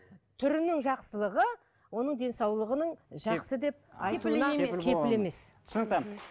түрінің жақсылығы оның денсаулығының жақсы түсінікті